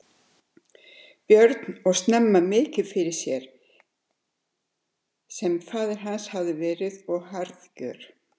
Björn og snemma mikill fyrir sér sem faðir hans hafði verið og harðgjör.